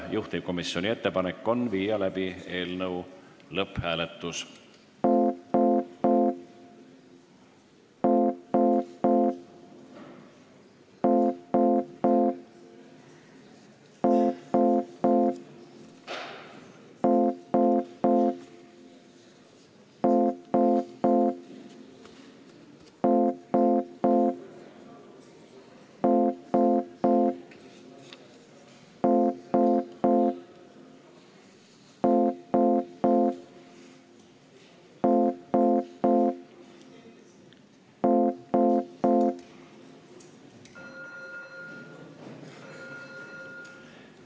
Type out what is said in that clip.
Juhtivkomisjoni ettepanek on viia läbi eelnõu lõpphääletus.